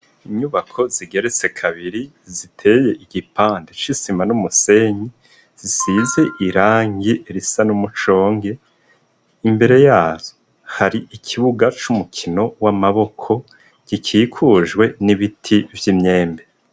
Nyubako zigeretse kabiri ziteye igipande cisima numusenyi zisize irangi risa numushonge , imbere yazo hari ikibuga cumukino wamaboko gikikujwe nibiti vyimyembe.